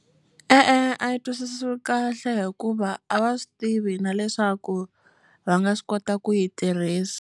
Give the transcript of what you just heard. E-e, a yi twisisiwi kahle hikuva a va swi tivi na leswaku va nga swi kota ku yi tirhisa.